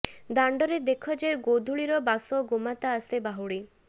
ଦାଣ୍ଡରେ ଦେଖ ଯେ ଗୋଧୂଳିର ବାସ ଗୋମାତା ଆସେ ବାହୁଡ଼ି